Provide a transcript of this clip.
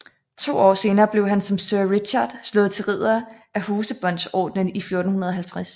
To år senere blev han som sir Richard slået til ridder af Hosebåndsordenen i 1450